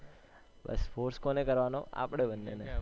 બસ force કોને કરવાનો આપણા બંને ને